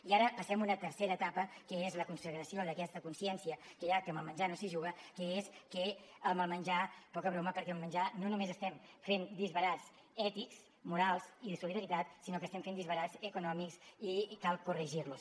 i ara passem a una tercera etapa que és la consagració d’aquesta consciència que ja que amb el menjar no s’hi juga és que amb el menjar poca broma perquè amb el menjar no només estem fent disbarats ètics morals i de solidaritat sinó que estem fent disbarats econòmics i cal corre girlos